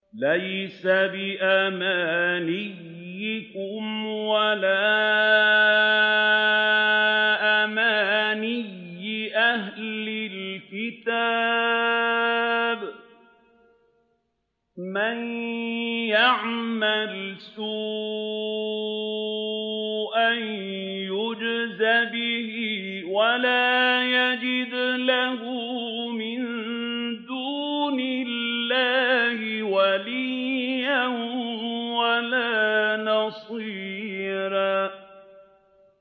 لَّيْسَ بِأَمَانِيِّكُمْ وَلَا أَمَانِيِّ أَهْلِ الْكِتَابِ ۗ مَن يَعْمَلْ سُوءًا يُجْزَ بِهِ وَلَا يَجِدْ لَهُ مِن دُونِ اللَّهِ وَلِيًّا وَلَا نَصِيرًا